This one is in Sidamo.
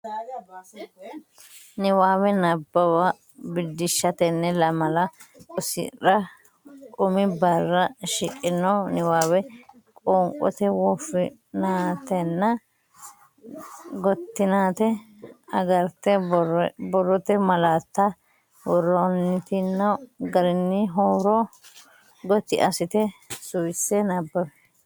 Niwaawe Nabbawa Biddissa Tenne lamala rosira umi barra shiqqino niwaawe qoonqote woffinatenna gottinate agarte borrote malaatta worantino garinni huuro gotti assite suwisse nabbawi.